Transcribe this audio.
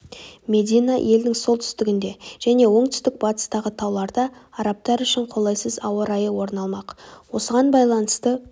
медина елдің солтүстігінде және оңтүстік-батыстағы тауларда арабтар үшін қолайсыз ауа райы орын алмақ осыған байланысты